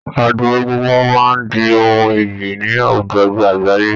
Ọdún egúngún máa di ohun iyì ni àwùjọ àgbáyé